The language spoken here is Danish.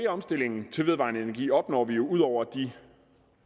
omstillingen til vedvarende energi opnår vi jo ud over de